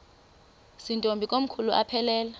zirntombi komkhulu aphelela